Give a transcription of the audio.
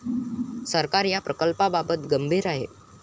सरकार या प्रकल्पाबाबत गंभीर आहे.